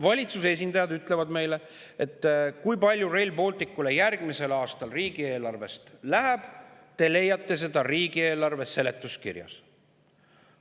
Valitsuse esindajad ütlevad meile, et selle, kui palju Rail Balticule järgmisel aastal riigieelarvest läheb, leiame me riigieelarve seletuskirjast.